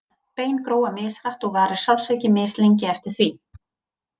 Bein gróa mishratt og varir sársauki mislengi eftir því.